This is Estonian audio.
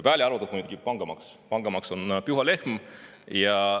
Välja arvatud muidugi pangamaks,.